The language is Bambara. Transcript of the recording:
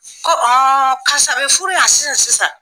Ko k'a sɔrɔ a bɛ furu yan sisan sisan